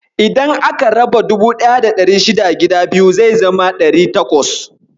Idan aka raba 1600 gida biyu, zai zama 800.